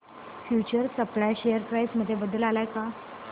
future supply share price मध्ये बदल आलाय का